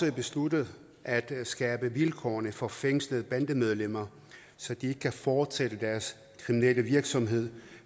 har besluttet at skærpe vilkårene for fængslede bandemedlemmer så de ikke kan fortsætte deres kriminelle virksomhed